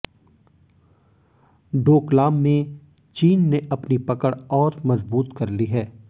डोकलाम में चीन ने अपनी पकड़ और मजबूत कर ली है